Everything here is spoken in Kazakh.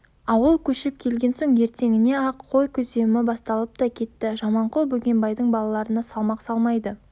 ауыл көшіп келген соң ертеңіне-ақ қой күземі басталыпта кетті жаманқұл бөгенбайдың балаларына салмақ салмайды